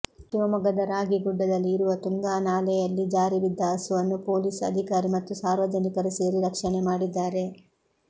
ಶಿವಮೊಗ್ಗದ ರಾಗಿಗುಡ್ಡದಲ್ಲಿ ಇರುವ ತುಂಗಾ ನಾಲೆಯಲ್ಲಿ ಜಾರಿ ಬಿದ್ದ ಹಸುವನ್ನು ಪೊಲೀಸ್ ಅಧಿಕಾರಿ ಮತ್ತು ಸಾರ್ವಜನಿಕರು ಸೇರಿ ರಕ್ಷಣೆ ಮಾಡಿದ್ದಾರೆ